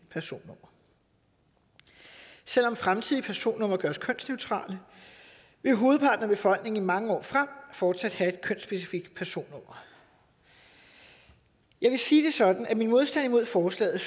personnummer selv om fremtidige personnumre gøres kønsneutrale vil hovedparten af befolkningen i mange år frem fortsat have et kønsspecifikt personnummer jeg vil sige det sådan at min modstand mod forslaget